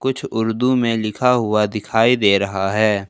कुछ उर्दू में लिखा हुआ दिखाई दे रहा है।